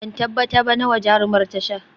Ban tabbata ba nawa jarumar ta sha